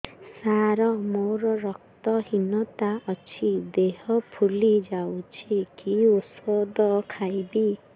ସାର ମୋର ରକ୍ତ ହିନତା ଅଛି ଦେହ ଫୁଲି ଯାଉଛି କି ଓଷଦ ଖାଇବି